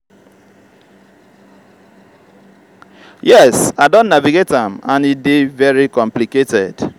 yes i don navigate am and e dey very complicated.